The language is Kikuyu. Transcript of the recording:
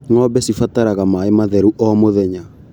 Ngombe cibataraga maĩ matheru o mũthenya.